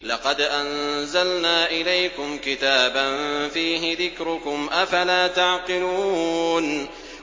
لَقَدْ أَنزَلْنَا إِلَيْكُمْ كِتَابًا فِيهِ ذِكْرُكُمْ ۖ أَفَلَا تَعْقِلُونَ